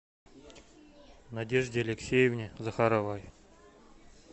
надежде алексеевне захаровой